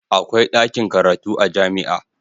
Akwai dakin karatu a jami'a.